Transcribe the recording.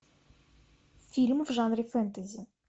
фильм в жанре фэнтези